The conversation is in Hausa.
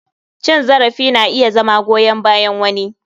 Cin zarafi na iya zama goyan bayan wani.